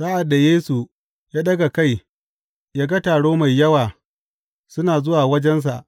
Sa’ad da Yesu ya ɗaga kai ya ga taro mai yawa suna zuwa wajensa,